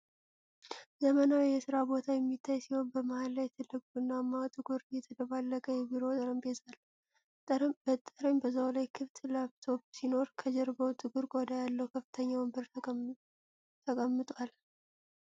ዘመናዊ የሥራ ቦታ የሚታይ ሲሆን፣ በመሃል ላይ ትልቅ፣ ቡናማና ጥቁር የተደባለቀ የቢሮ ጠረጴዛ አለ። በጠረጴዛው ላይ ክፍት ላፕቶፕ ሲኖር፣ ከጀርባው ጥቁር ቆዳ ያለው ከፍተኛ ወንበር ተቀምጧል።